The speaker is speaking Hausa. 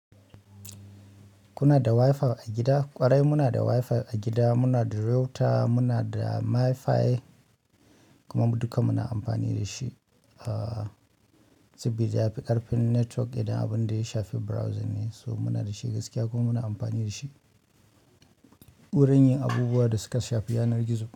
Kuna da Wi-Fi a gida? Ƙwarai muna da Wi-Fi a gida, muna da router, muna da Mi-Fi. Kuma mu duka muna amfani da shi. A sabida ya fi ƙarfin network idan abun da ya shafi browsing ne, so muna da shi gaskiya kuma muna amfani da shi. Wurin yin abubuwan da suka shafi yanar gizo.